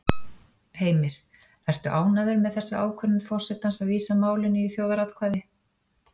Heimir: Ertu ánægður með þessa ákvörðun forsetans að vísa málinu í þjóðaratkvæði?